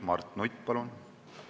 Mart Nutt, palun!